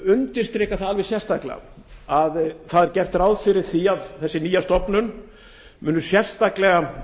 undirstrika alveg sérstaklega að gert er ráð fyrir því að þessi nýja stofnun muni sérstaklega